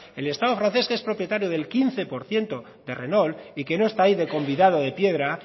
el estado francés que es propietario del quince por ciento de renault y que no está ahí de convidado de piedra